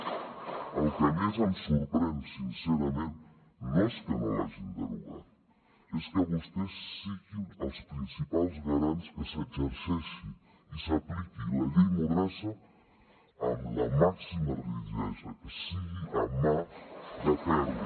el que més em sorprèn sincerament no és que no l’hagin derogat és que vostès siguin els principals garants que s’exerceixi i s’apliqui la llei mordassa amb la màxima rigidesa que sigui amb mà de ferro